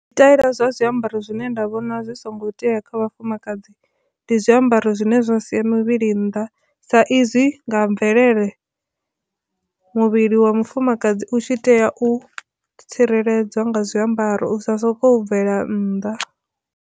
Zwtaila zwa zwiambaro zwine nda vhona zwi songo tea kha vhafumakadzi ndi zwiambaro zwine zwa sia muvhili nnḓa sa izwi nga mvelele muvhili wa mufumakadzi u tshi tea u tsireledza nga zwiambaro u sa soko bvela nnḓa.